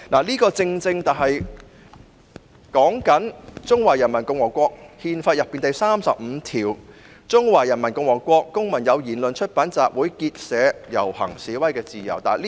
這正正是指《中華人民共和國憲法》裏第三十五條："中華人民共和國公民有言論、出版、集會、結社、遊行、示威的自由。